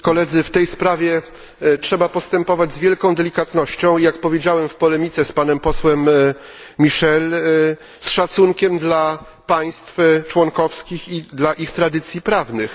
Pani Przewodnicząca! W tej sprawie trzeba postępować z wielką delikatnością i, jak powiedziałem w polemice z panem posłem Michelem, z szacunkiem dla państw członkowskich i dla ich tradycji prawnych.